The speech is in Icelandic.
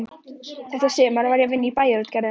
Þetta sumar var ég að vinna í Bæjarútgerðinni.